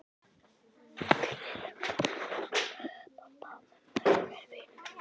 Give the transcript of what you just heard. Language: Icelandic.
Gulli lögga þekkir pabba og mömmu og er vinur minn.